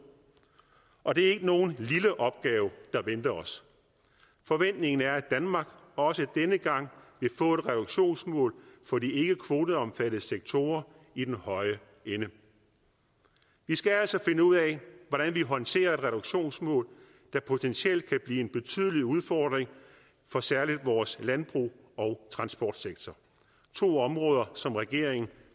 og det er ikke nogen lille opgave der venter os forventningen er at danmark også denne gang vil få et reduktionsmål for de ikkekvoteomfattede sektorer i den høje ende vi skal altså finde ud af hvordan vi håndterer et reduktionsmål der potentielt kan blive en betydelig udfordring for særlig vores landbrug og transportsektor to områder som regeringen